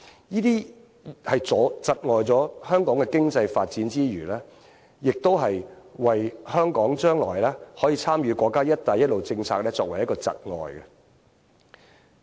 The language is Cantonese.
這些窒礙了香港經濟發展之餘，亦阻礙香港將來可以參與國家"一帶一路"政策。